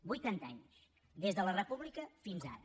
vuitanta anys des de la república fins ara